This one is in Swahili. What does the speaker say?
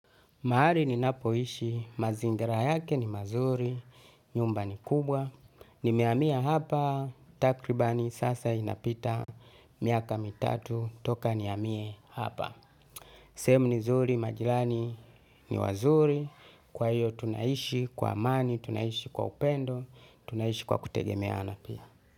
Mahali ninapo ishi, mazingira yake ni mazuri, nyumba ni kubwa, nimehamia hapa, takribani sasa inapita miaka mitatu, toka nihamie hapa. Sehemu ni zuri, majirani ni wazuri, kwa hiyo tunaishi kwa amani, tunaishi kwa upendo tunaishi kwa kutegemeana.